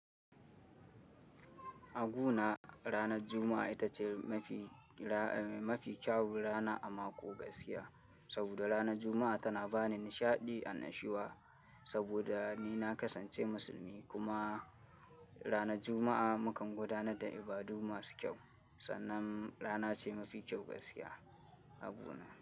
A guna ranar Juma'a ita ce mafi, mafi kyawun rana a mako gaskiya. Saboda ranar Juma'a tana bani nishaɗi an nashiwa. Saboda ni na kasance musulmi kuma ranar Juma'a mukan gudanar da ibadu masu kyau, sannan rana ce mafi kyau gaskiya a guna.